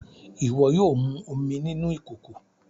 Iwọ yóò mú omí nínú ìkòkò!